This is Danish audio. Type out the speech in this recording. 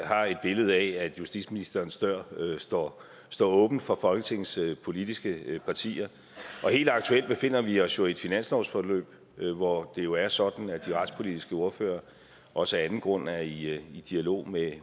har et billede af at justitsministerens dør står står åben for folketingets politiske partier helt aktuelt befinder vi os i et finanslovsforløb hvor det jo er sådan at de retspolitiske ordførere også af anden grund er i i dialog med